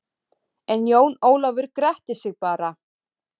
En Jón Ólafur gretti sig bara.